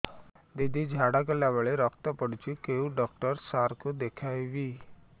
ଦିଦି ଝାଡ଼ା କଲା ବେଳେ ରକ୍ତ ପଡୁଛି କଉଁ ଡକ୍ଟର ସାର କୁ ଦଖାଇବି